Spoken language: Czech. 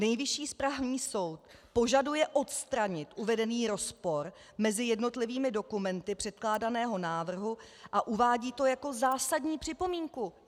Nejvyšší správní soud požaduje odstranit uvedený rozpor mezi jednotlivými dokumenty předkládaného návrhu a uvádí to jako zásadní připomínku.